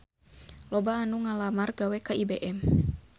Loba anu ngalamar gawe ka IBM